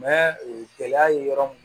e gɛlɛya ye yɔrɔ mun